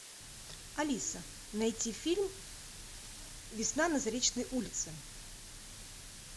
алиса найти фильм весна на заречной улице